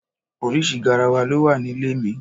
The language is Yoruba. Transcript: Oríṣi garawa ló wà nílé mi.